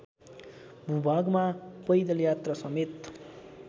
भूभागमा पैदल यात्रासमेत